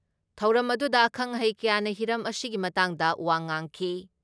ꯊꯧꯔꯝ ꯑꯗꯨꯗ ꯑꯈꯪ ꯑꯍꯩ ꯀꯌꯥꯅ ꯍꯤꯔꯝ ꯑꯁꯤꯒꯤ ꯃꯇꯥꯡꯗ ꯋꯥ ꯉꯥꯡꯈꯤ ꯫